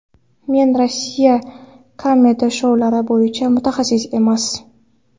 Men Rossiya kamedi-shoulari bo‘yicha mutaxassis emas.